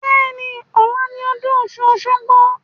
Bẹ́ẹ̀ni, ọ̀la ni ọdún ọ̀ṣun-òṣogbo